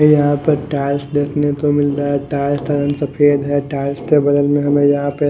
हमें यहां पर टाइल्स देखने को मिल रहा है टाइल्स का रंग सफेद है टाइल्स के बगल में हमें यहां पे--